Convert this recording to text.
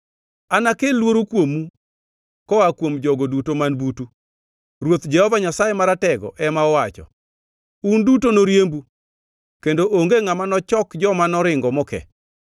Anakel luoro kuomu koa kuom jogo duto man butu,” Ruoth, Jehova Nyasaye Maratego ema owacho. “Un duto noriembu, kendo onge ngʼama nochok joma noringo moke.